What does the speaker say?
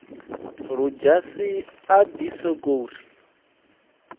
ludzhasi a ḓi sokou ri